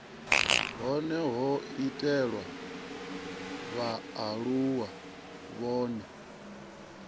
hone ho itelwa vhaaluwa vhane